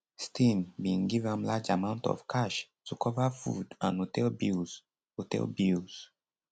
stein bin give am large amount of cash to cover food and hotel bills hotel bills